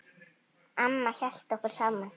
Amma hélt okkur saman.